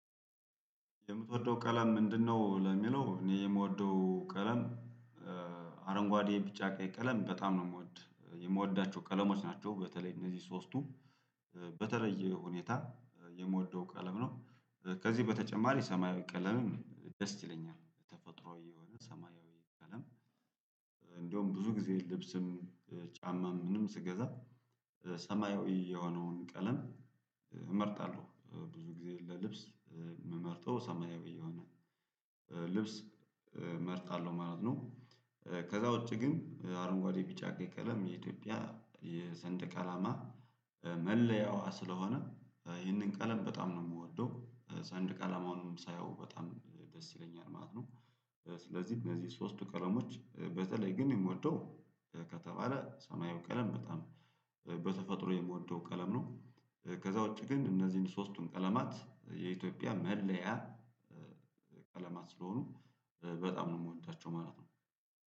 የምትወደው ቀለም ምንድነው ለሚለው እኔ የምወደው ቀለም አረንጓዴ ቢጫ ቀይ ቀለም በጣም ነው የምወድ የምወዳቸው ቀለሞች ናቸው በተለይ እነዚህ ሶስቱም በተለየ ሁኔታ የምወደው ቀለም ነው። ከዚህ በተጨማሪ ሰማያዊ ቀለምን ደስ ይለኛል ተፈጥሯዊ የሆነ ሰማያዊ ቀለም እንደውም ብዙ ጊዜ ልብስም ጫማም ምንም ስገዛ ሰማያዊ የሆነውን ቀለም እመርጣለሁ። ብዙ ጊዜ ለልብስ ምመርጠው ሰማያዊ የሆነ ልብስ መርጣለሁ ማለት ነው ከዛ ውጪ ግን አረንጓዴ ቢጫ ቀይ ቀለም የኢትዮጵያ የሰንደቅ አላማ መለያዋ ስለሆነ ይህንን ቀለም በጣም ነው ምወደው ሰንደቅ አላማውንም ሳየው በጣም ደስ ይለኛል ማለት ነው ስለዚህ እነዚህ ሶስቱ ቀለሞች በተለይ ግን የምወደው ከተባለ ሰማያዊ ቀለም በጣም በተፈጥሮ የምወደው ቀለም ነው ከዛ ውጪ ግን እነዚህን ሶስቱን ቀለማት የኢትዮጵያ መለያ ቀለማት ስለሆኑ በጣም ነው ምወዳቸው ማለት ነው።